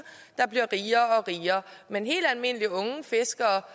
der bliver rigere og rigere men helt almindelige unge fiskere